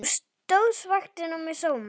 Þú stóðst vaktina með sóma.